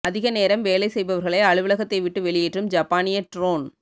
அதிக நேரம் வேலை செய்பவர்களை அலுவலகத்தை விட்டு வெளியேற்றும் ஜப்பானிய ட்ரோன்